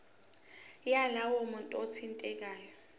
yalowo muntu othintekayo